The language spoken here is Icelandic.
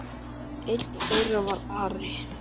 Einn þeirra var Ari.